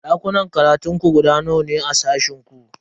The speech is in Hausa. Dakunan karatun ku guda nawa ne a sashen ku?